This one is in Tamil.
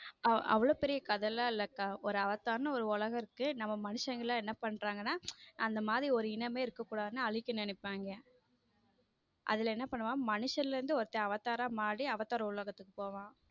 அவ்ளோ பெரிய கதைலாம் இல்லக்கா ஒரு அவதார் என்று ஒரு உலகம் இருக்கு நம்ம மனுஷங்க எல்லாம் என்ன பண்றாங்க எல்லாம் அந்த மாதிரி ஒரு இனமே இருக்கக் கூடாதுன்னு அழிக்க நினைப்பாங் அதுல என்ன பண்ணுவான் மனுஷன்ல இருந்து ஒருத்தன் அவதார் ஆ மாறி அவதார் உலகத்துக்கு போவான்.